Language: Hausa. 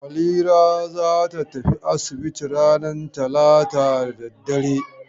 Halira za ta tafi asibiti ranar talata da dare.